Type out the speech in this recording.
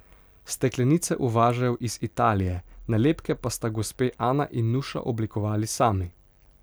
Steklenice uvažajo iz Italije, nalepke pa sta gospe Ana in Nuša oblikovali sami.